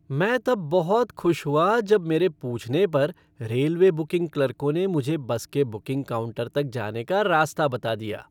मैं तब बहुत खुश हुआ जब मेरे पूछने पर रेलवे बुकिंग क्लर्कों ने मुझे बस के बुकिंग काउंटर तक जाने का रास्ता बता दिया।